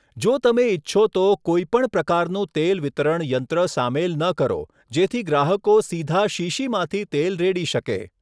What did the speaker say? જો તમે ઇચ્છો તો, કોઇપણ પ્રકારનું તેલ વિતરણ યંત્ર સામેલ ન કરો જેથી ગ્રાહકો સીધા શીશીમાંથી તેલ રેડી શકે.